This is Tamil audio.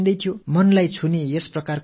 இது மனதைத் தொடக் கூடிய ஒரு அருமையான காட்சி